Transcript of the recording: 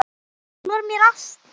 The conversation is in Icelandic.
Hún var mér allt.